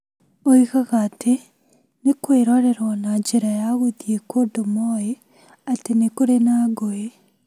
Oigaga atĩ nĩ kũĩrorerwo na njĩra ya gũthiĩ kũndũ moĩ atĩ nĩ kũrĩ na ngũĩ.